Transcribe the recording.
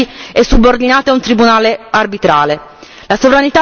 La sovranità popolare viene subordinata alla libertà di impresa.